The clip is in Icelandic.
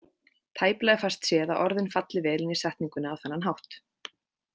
Tæplega fæst séð að orðin falli vel inn í setninguna á þennan hátt.